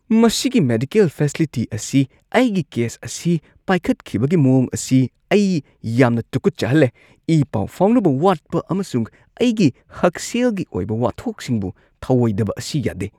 ꯃꯁꯤꯒꯤ medical facility ꯑꯁꯤꯅ ꯑꯩꯒꯤ ꯀꯦꯁ ꯑꯁꯤ ꯄꯥꯏꯈꯠꯈꯤꯕꯒꯤ ꯃꯑꯣꯡ ꯑꯁꯤꯅ ꯑꯩ ꯌꯥꯝꯅ ꯇꯨꯀꯠꯆꯍꯜꯂꯦ꯫ ꯏ-ꯄꯥꯎ ꯐꯥꯎꯅꯕ ꯋꯥꯠꯄ ꯑꯃꯁꯨꯡ ꯑꯩꯒꯤ ꯍꯛꯁꯦꯜꯒꯤ ꯑꯣꯏꯕ ꯋꯥꯊꯣꯛꯁꯤꯡꯕꯨ ꯊꯑꯣꯏꯗꯕ ꯑꯁꯤ ꯌꯥꯗꯦ꯫